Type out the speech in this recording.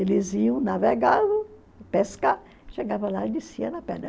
Eles iam navegavam, pescar, chegavam lá e desciam na pedra.